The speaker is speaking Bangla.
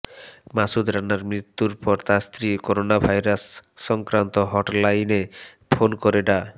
মাসুদ রানার মৃত্যুর পর তার স্ত্রী করোনাভাইরাস সক্রান্ত হট লাইনে ফোন করে ডা